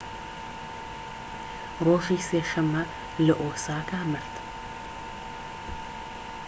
ڕۆژی سێ شەمە لە ئۆساکا مرد